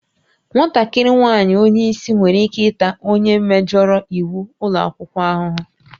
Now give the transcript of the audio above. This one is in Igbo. Nwatakịrị nwaanyị onye isi nwere ike ịta onye mejọrọ iwu ụlọ akwụkwọ ahụhụ